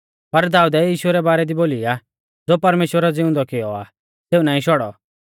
पर दाऊदै यीशु रै बारै दी बोलौ आ ज़ो परमेश्‍वरै ज़िउंदौ कियौ आ सेऊ नाईं शौड़ौ